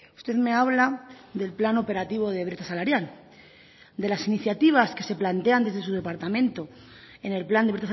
usted me habla del plan operativo de brecha salarial de las iniciativas que se plantean desde su departamento en el plan de